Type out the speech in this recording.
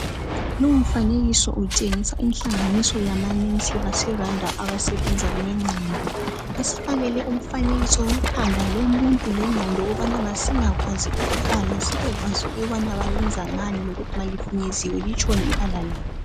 Lowu mfanekiso utshengisa inhlanganiso yamanesi baseRwanda abasebenza ngengqondo. Basifakele umfanekiso wekhanda lomuntu lengqondo ukubana masingakwazi ukubala sibekwazi ukubana bayebenza ngani lokuthi malifinyeziwe litshoni ibala labo.